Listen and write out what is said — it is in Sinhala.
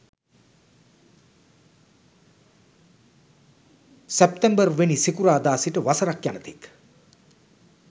සැප්තැම්බර්වෙනි සිකුරාදා සිට වසරක් යන තෙක්